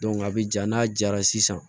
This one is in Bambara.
a bɛ ja n'a jara sisan